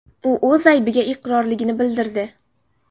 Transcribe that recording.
U o‘z aybiga iqrorligini bildirdi.